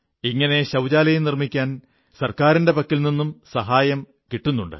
ഇങ്ങനെ ശൌചാലയം നിർമ്മിക്കാൻ ഗവൺമെന്റിന്റെ പക്കൽ നിന്നും ധനസഹായം കിട്ടുന്നുണ്ട്